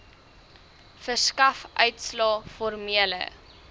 verskaf uitslae formele